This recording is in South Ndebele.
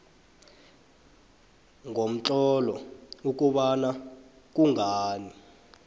ngomtlolo ukobana kungani